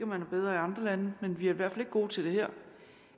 man er bedre i andre lande men vi er i hvert fald ikke gode til det her